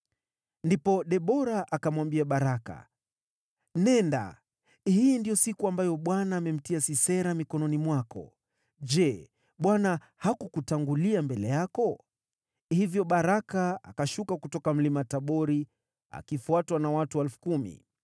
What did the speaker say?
Ndipo Debora akamwambia Baraka, “Nenda! Hii ndiyo siku ambayo Bwana amemtia Sisera mikononi mwako. Je, Bwana hakukutangulia mbele yako?” Hivyo Baraka akashuka kutoka Mlima Tabori, akifuatwa na watu 10,000.